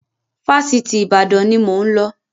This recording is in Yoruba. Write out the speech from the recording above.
Fásitì Ìbàdàn ni mo ń lọ